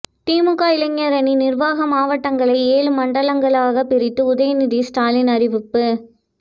திமுக இளைஞரணி நிர்வாக மாவட்டங்களை ஏழு மண்டலங்களாகப் பிரித்து உதயநிதி ஸ்டாலின் அறிவிப்பு